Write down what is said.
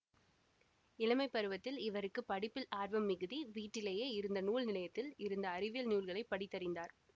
இளமை பருவத்தில் இவருக்கு ப்டிப்பில் ஆர்வம் மிகிதி வீட்டிலேயே இருந்த நூல் நிலையத்தில் இருந்த அறிவியல் நூல்களை படித்தறிந்தார்